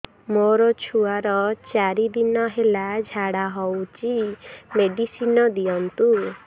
ମୋର ଛୁଆର ଚାରି ଦିନ ହେଲା ଝାଡା ହଉଚି ମେଡିସିନ ଦିଅନ୍ତୁ